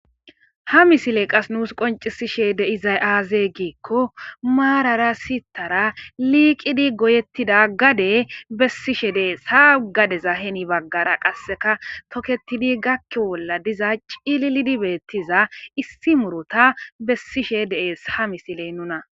Ha misiley qa nuus qonccisishe de'izay aaze giiko maarara sittara liiqidi goyetia gade bessishe dees ha gadeza heni baggara qaseka toketidi gakiyo bolla diza cililidi beetiza issi muruta bessishe de'es ha misiley nuna.